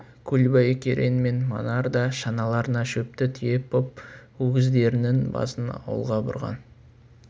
көлбай керең мен манар да шаналарына шөпті тиеп боп өгіздерінің басын ауылға бұрған